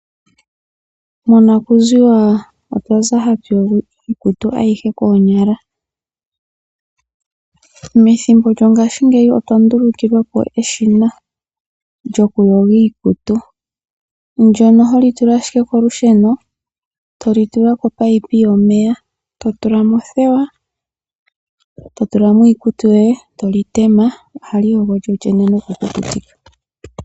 Monakuziwa otwa za ha tu yogo iikutu koonyala. Methimbo lyopaife otwa ndulukilwa po eshina lyoku yoga iikutu, ndyono ho li tula ashike kolusheno , to li tula komunino gomeya, to tula mo othewa niikutu yoye. Ohali yogo lyolyene noku kukutika iikutu.